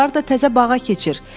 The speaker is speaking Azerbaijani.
Ayaqqabıları da təzə bağa keçir.